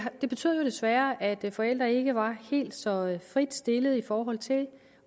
det betød jo desværre at forældre ikke var helt så frit stillet i forhold til